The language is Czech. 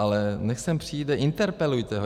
Ale až sem přijde, interpelujte ho.